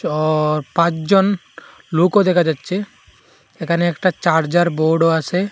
পাঁচজন লোকও দেখা যাচ্ছে এখানে একটা চার্জার বোর্ডও আছে।